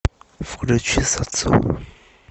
включи сацуру